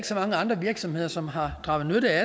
så mange andre virksomheder som har draget nytte af